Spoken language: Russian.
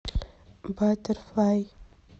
батерфлай